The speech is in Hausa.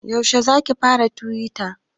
Yaushe zaki fara tuwita?